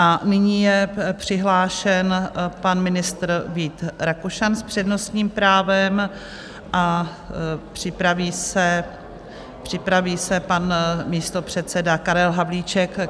A nyní je přihlášen pan ministr Vít Rakušan s přednostním právem a připraví se pan místopředseda Karel Havlíček.